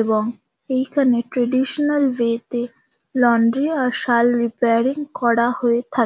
এবং এইখানে traditional way -তে লন্ড্রি আর সাল রিপেয়ারিং করা হয়ে থাক--